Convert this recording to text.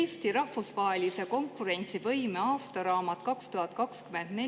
"Eesti rahvusvaheline konkurentsivõime 2024.